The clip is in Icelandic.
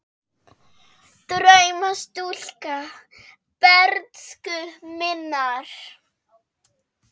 Drauma stúlka bernsku minnar.